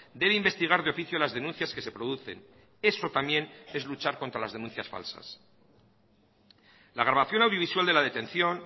debe investigar de oficio las denuncias que se producen eso también es luchar contra las denuncias falsas la grabación audiovisual de la detención